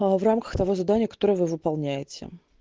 в рамках того задания которое вы выполняете